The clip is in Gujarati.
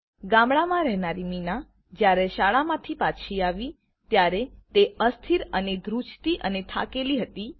ગામડામાં રહેનારી મીના જયારે શાળામા થી પાછી આવી ત્યારે તે અસ્થિર અને ઘ્રૂજતી અને થાકેલી હતી